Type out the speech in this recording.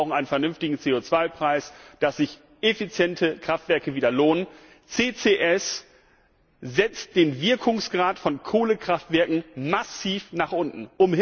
Wir brauchen einen vernünftigen CO Preis, damit sich effiziente Kraftwerke wieder lohnen. CCS setzt den Wirkungsgrad von Kohlekraftwerken massiv nach unten.